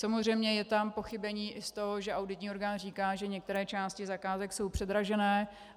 Samozřejmě je tam pochybení i z toho, že auditní orgán říká, že některé části zakázek jsou předražené.